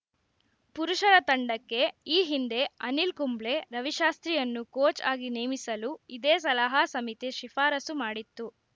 ಪುರುಷರ ತಂಡಕ್ಕೆ ಈ ಹಿಂದೆ ಅನಿಲ್‌ ಕುಂಬ್ಳೆ ರವಿಶಾಸ್ತ್ರಿಯನ್ನು ಕೋಚ್‌ ಆಗಿ ನೇಮಿಸಲು ಇದೇ ಸಲಹಾ ಸಮಿತಿ ಶಿಫಾರಸು ಮಾಡಿತ್ತು